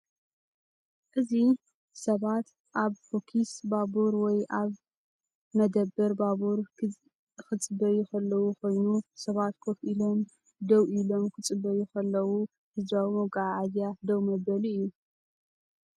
እዚ ሰባት ኣብ ፈኲስ ባቡር ወይ ኣብ መደበር ባቡር ኪፅበዩ ኸለዉ ኮይኑ ሰባት ኮፍ ኢሎም ደው ኢሎም ክፅበዩ ኸለዉ ህዝባዊ መጓዓዝያ ደው መበሊ እዩ::